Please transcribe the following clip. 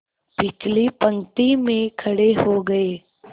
पिछली पंक्ति में खड़े हो गए